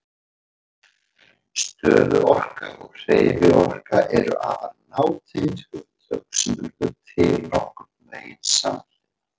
Stöðuorka og hreyfiorka eru afar nátengd hugtök sem urðu til nokkurn veginn samhliða.